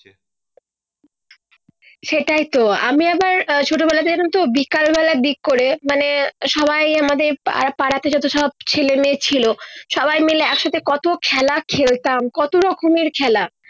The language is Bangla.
সেটাই তো আমি আবার আহ ছোট বেলা থেকে কিন্তু বিকেল বেলায় দিক করে মানে সবাই আমাদের পার পাড়াতে যত সব ছেলে মেয়ে, ছিলো সবাই মিলে এক সাথে কত খেলা খেলতাম কত রকমের খেলা